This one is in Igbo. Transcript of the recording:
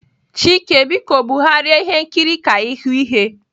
Chike biko bugharịa ihe nkiri ka ịhụ ihe.